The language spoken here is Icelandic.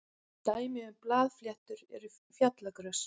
dæmi um blaðfléttur eru fjallagrös